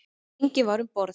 Enginn var um borð.